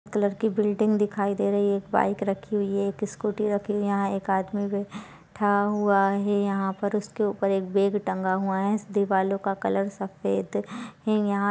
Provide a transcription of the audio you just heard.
colour की building दिखाई दे रही है एक बाइक रखी हुई है एक स्कूटी रखी हुई है यहाँ एक आदमी बैठा हुआ है यहाँ पर उसके ऊपर एक बेग टंगा हुआ है देवालों का कलर सफेद है यहां --